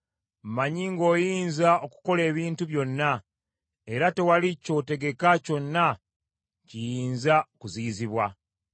“Mmanyi ng’oyinza okukola ebintu byonna, era tewali kyotegeka kyonna kiyinza kuziyizibwa.